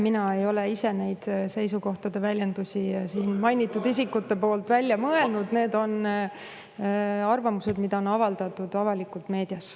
Mina ei ole ise neid mainitud isikute seisukohtade väljendusi välja mõelnud, need on arvamused, mis on avaldatud avalikult meedias.